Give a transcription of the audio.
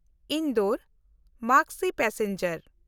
Indore Maksi passenger